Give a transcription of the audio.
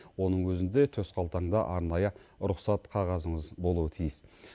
оның өзінде төсқалтаңда арнайы рұқсат қағазыңыз болуы тиіс